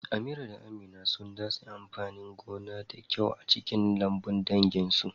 Amira da Amina sun datse amfanin gona da kyau a cikin lambun danginsu.